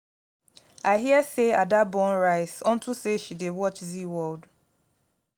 i hear say ada burn rice unto say she dey watch zeaworld